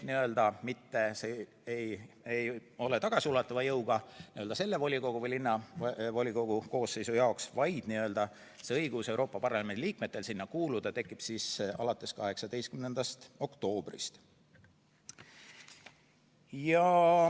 Seega see ei ole tagasiulatuva jõuga praeguse valla- või linnavolikogu koosseisu jaoks, vaid Euroopa Parlamendi liikmetel tekib õigus sinna kuuluda siis alates 18. oktoobrist.